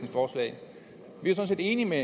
enige med